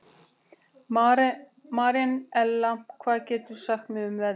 Marinella, hvað geturðu sagt mér um veðrið?